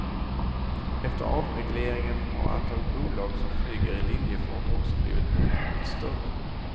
Efter avregleringen har antalet bolag som flyger i linjefart också blivit mångdubbelt större.